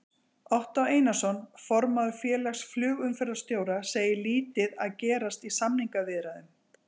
Ottó Einarsson, formaður Félags flugumferðarstjóra, segir lítið að gerast í samningaviðræðum.